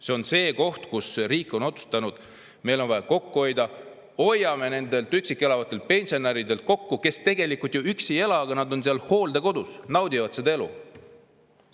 See on see koht, kus riik on otsustanud: meil on vaja kokku hoida, hoiame nende üksi elavate pensionäride pealt kokku, kes tegelikult ju üksi ei ela, nad on seal hooldekodus, naudivad seda elu.